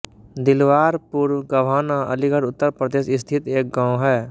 दिलवारपुर गभाना अलीगढ़ उत्तर प्रदेश स्थित एक गाँव है